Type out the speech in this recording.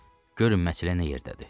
Görün məsələ nə yerdədir.